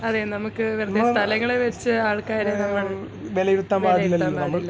അതെ നമുക്ക് വെറുതെ സ്ഥലങ്ങളിൽ വെച്ച് ആൾക്കാരെ നമ്മൾ വിലയിരുത്താൻ പാടില്ലല്ലോ